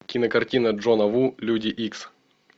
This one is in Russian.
кинокартина джона ву люди икс